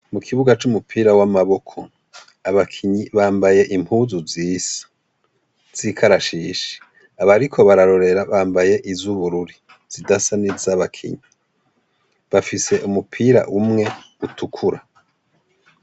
Mu kibuga c'umupira w'amaboko abakinyi bambaye impuzu zisa zikarashishi abariko bararorera bambaye iz’ubururi zidasa ni z'abakinyi bafise umupira umwe utukura.